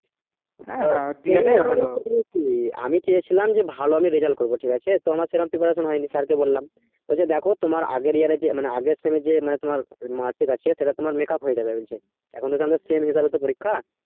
হ্যাঁ আমি চেয়েছিলাম যে ভালো আমি রেজাল্ট করবো ঠিক আছে তো আমার সেরম preparation হয়নি sir কে বললাম বলছে দেখো তোমার আগের year যে মানে আগের sem এ যে তোমার mark আছে সেটা তোমার make up হয়ে যাবে বলছে এখন তো আমাদের same হয়ে গেলো তো পরীক্ষা